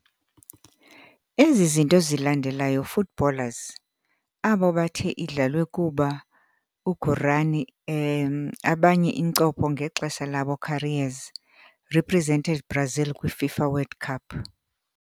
Ezi zinto zilandelayo footballers, abo bathe idlalwe kuba Guarani e abanye incopho ngexesha labo careers, represented Brazil kwi - FIFA World Cup.